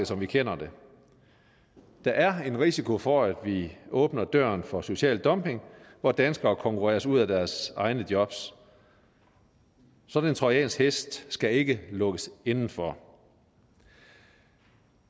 som vi kender det der er en risiko for at vi åbner døren for social dumping hvor danskere konkurreres ud af deres egne jobs sådan en trojansk hest skal ikke lukkes indenfor